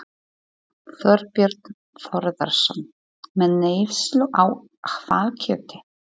Þorbjörn Þórðarson: Með neyslu á hvalkjöti?